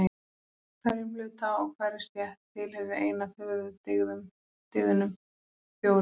Hverjum hluta og hverri stétt tilheyrir ein af höfuðdygðunum fjórum.